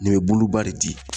Nin be buluba de di.